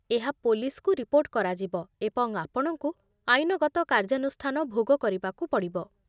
ଏହା ପୋଲିସ୍‌କୁ ରିପୋର୍ଟ କରାଯିବ, ଏବଂ ଆପଣଙ୍କୁ ଆଇନଗତ କାର୍ଯାନୁଷ୍ଠାନ ଭୋଗ କରିବାକୁ ପଡ଼ିବ